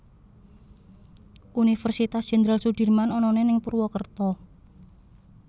Universitas Jendral Sudirman onone ning Purwokerto